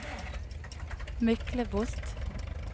Myklebost